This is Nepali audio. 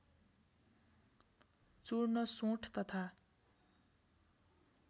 चूर्ण सोंठ तथा